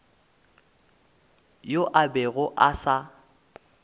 yoo a bego a sa